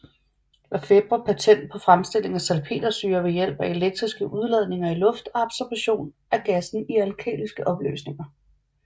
Lafebre patent på fremstilling af salpetersyre ved hjælp af elektriske udladninger i luft og absorption af gassen i alkaliske opløsninger